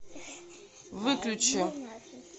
выключи